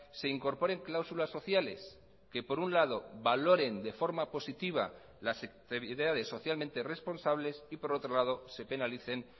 se incorporen cláusulas sociales que por un lado valoren de forma positiva las socialmente responsables y por otro lado se penalicen